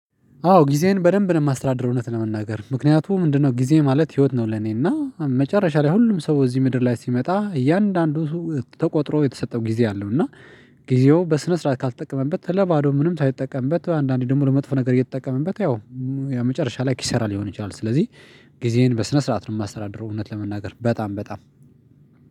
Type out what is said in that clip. አዎ ጊዜዬን በደንብ ነው የማስተዳድረው እውነት ለመናገር ምክንያቱም ምንድነው ጊዜ ማለት ህይወት ነው። ለኔና መጨረሻ ላይ ሁሉም ሰው እዚህ ምድር ላይ ሲመጣ እያንዳንዱ ተቆጥሮ የተሰጠው ጊዜ አለው እና። ጊዜው በስነ ስርዓት ካልተጠቀመበት ለባዶ ምንም ሳይጠቀምበት አንዳንዴ ደግሞ ለመጥፎ ነገር እየተጠቀመበት ያው የመጨረሻ ላይ ኪሰራ ይሆናል። ስለዚህ ጊዜዬን በስነ ስርዓት ነው የማስተዳድረው። እውነት ለመናገር በጣም